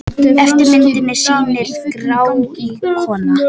Efri myndin sýnir gráíkorna.